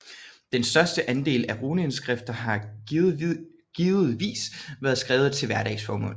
Den største andel af runeindskrifter har givetvis været skrevet til hverdagsformål